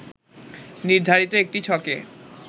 নির্ধারিত একটি ছকে